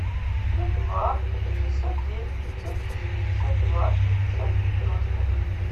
плюс два шестьсот девять пятьсот шестьдесят два шестьдесят девяносто